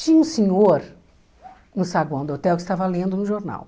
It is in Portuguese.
Tinha um senhor no saguão do hotel que estava lendo um jornal.